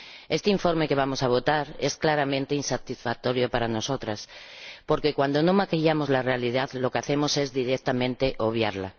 Este informe que vamos a votar es claramente insatisfactorio para nosotras porque, cuando no maquillamos la realidad, lo que hacemos es directamente obviarla.